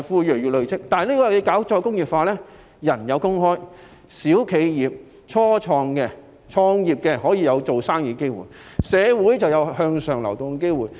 然而，如果推行再工業化，市民有工作，小企業、初創企業也可以有營商的機會，形成社會有向上流動性。